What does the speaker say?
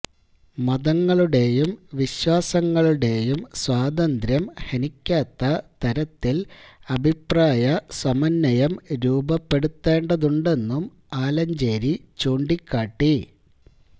മതങ്ങളുടെയും വിശ്വാസങ്ങളുടെയും സ്വാതന്ത്ര്യം ഹനിക്കാത്ത തരത്തില് അഭിപ്രായ സമന്വയം രൂപപ്പെടുത്തേണ്ടതുണ്ടെന്നും ആലഞ്ചേരി ചൂണ്ടിക്കാട്ടി